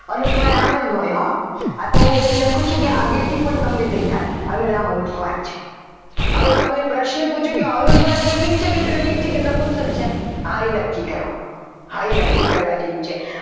અનુસ્વાર આમ જ હોય આ તો હું એમ લખું છું કે આગળથી પણ તમને દેખાય અને આ અનુસ્વાર છે હવે તમને પ્રશ્ન પૂછું કે આ અનુસ્વાર સ્ત્રીલિંગ છે કે પુલ્લિંગ છે કે નપુંસક છે હા એ નક્કી કરો હા એ નક્કી કરવા જેવું છે.